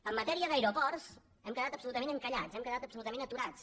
en matèria d’aeroports hem quedat absolutament encallats hem quedat absolutament aturats